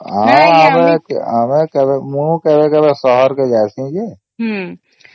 ଆଉ ଆମେ ଆମେ କେବେ ମୁ କେବେ କେବେ ସହର କେ ଜଉସେ ଯେ